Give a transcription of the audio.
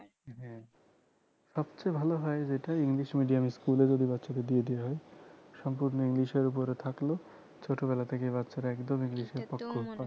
হ্যাঁ সবচেয়ে ভালো হয় যেটা english medium school এ যদি বাচ্চাদের দিয়ে দেওয়া হয় সম্পূর্ণ english এর উপরে থাকলো ছোট বেলা থেকে বাচ্চারা একদম english এ পক্ক